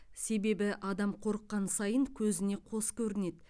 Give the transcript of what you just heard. себебі адам қорыққан сайын көзіне қос көрінеді